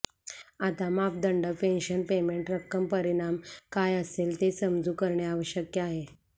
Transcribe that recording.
आता मापदंड pension payment रक्कम परिणाम काय असेल ते समजू करणे आवश्यक आहे